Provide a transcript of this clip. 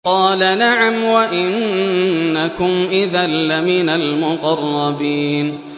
قَالَ نَعَمْ وَإِنَّكُمْ إِذًا لَّمِنَ الْمُقَرَّبِينَ